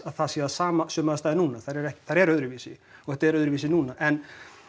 að það séu sömu aðstæður núna þær eru þær eru öðruvísi og þetta er öðruvísi núna en